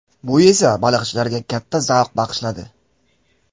Bu esa baliqchilarga katta zavq bag‘ishladi.